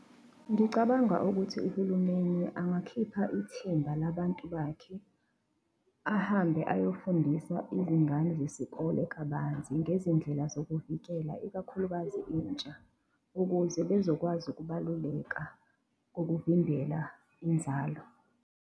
Ngicabanga ukuthi uhulumeni angakhipha ithimba labantu bakhe, ahambe ayofundisa izingane zesikole kabanzi ngezindlela zokuvikela ikakhulukazi intsha, ukuze bezokwazi ukubaluleka kokuvimbela inzalo.